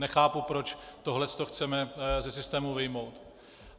Nechápu, proč tohle to chceme ze systému vyjmout.